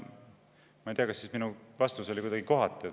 Ma ei tea, kas minu vastus oli siis kuidagi kohatu.